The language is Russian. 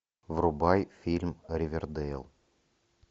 врубай фильм ривердейл